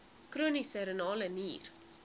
chroniese renale nier